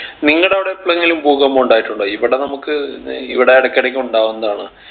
നിങ്ങടെ അവിടെ എപ്പളെങ്കിലും ഭൂകമ്പം ഉണ്ടായിട്ടുണ്ടോ ഇവിടെ നമ്മുക്ക് ഏർ ഇവിടെ ഇടക്ക് ഇടക്ക് ഉണ്ടാവുന്നതാണ്